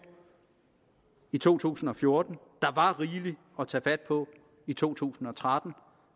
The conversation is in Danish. i to tusind og fjorten der var rigeligt at tage fat på i to tusind og tretten